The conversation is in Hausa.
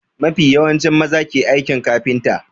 Mafi yawanci maza ke aikin kafinta.